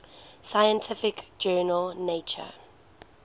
scientific journal nature